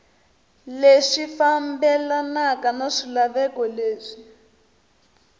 leswi fambelanaka na swilaveko leswi